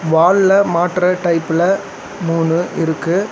வால்ல மாட்ற டைப்ல மூணு இருக்கு.